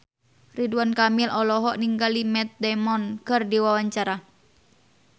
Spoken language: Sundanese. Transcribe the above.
Ridwan Kamil olohok ningali Matt Damon keur diwawancara